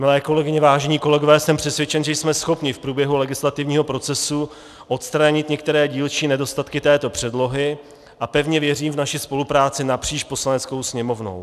Milé kolegyně, vážení kolegové, jsem přesvědčen, že jsme schopni v průběhu legislativního procesu odstranit některé dílčí nedostatky této předlohy, a pevně věřím v naši spolupráci napříč Poslaneckou sněmovnu.